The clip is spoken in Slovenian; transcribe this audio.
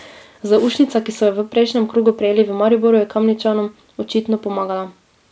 Zaušnica, ki so jo v prejšnjem krogu prejeli v Mariboru, je Kamničanom očitno pomagala.